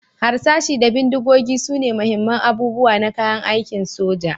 Harsashi da bindigogi sune muhimman abubuwa na kayan aikin soja,